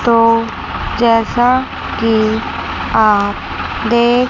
तो जैसा कि आप देख--